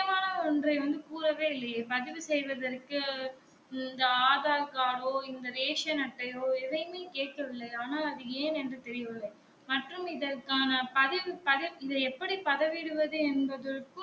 ஒன்றை வந்து கூறவே இல்லையே பதிவு செய்வதற்கு இந்த ஆதார் card டோ இந்த ரேசன் அட்டையோ எதையுமே கேட்டவில்லை ஆனா அது ஏன் என்று தெரியவில்லை மற்றும் இதற்க்கான பதிவு பதிவு இத எப்படி பதவிடுவது என்பதற்கும்